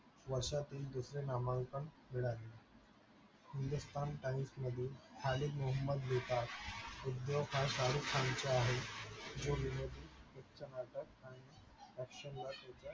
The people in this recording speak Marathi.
वर्षातील दुसरे नामांकन मिळाले hindustan times मधील खालीद महोबद हा शाहरुख खानच्या आहेत